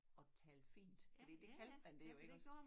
At tale fint fordi det kaldte man det jo iggås